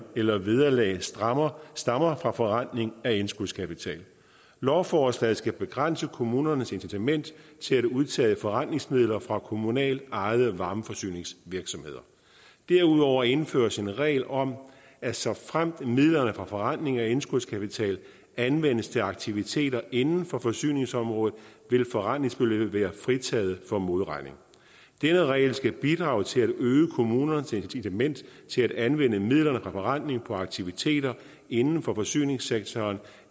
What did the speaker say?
eller vederlag stammer stammer fra forrentning af indskudskapitalen lovforslaget skal begrænse kommunernes incitament til at udtage forrentningsmidler fra kommunalt ejede varmeforsyningsvirksomheder derudover indføres en regel om at såfremt midlerne fra forrentning af indskudskapital anvendes til aktiviteter inden for forsyningsområdet vil forrentningsbeløbet være fritaget for modregning denne regel skal bidrage til at øge kommunernes incitament til at anvende midler fra forrentning på aktiviteter inden for forsyningssektoren